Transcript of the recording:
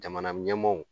Jamana ɲɛmaaw